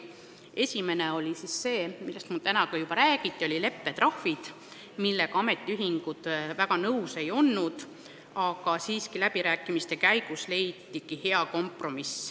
Esimene oli see, millest siin täna juba räägiti, need olid leppetrahvid, millega ametiühingud algul väga nõus ei olnud, aga läbirääkimiste käigus leiti hea kompromiss.